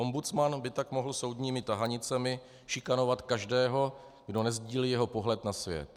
Ombudsman by tak mohl soudními tahanicemi šikanovat každého, kdo nesdílí jeho pohled na svět.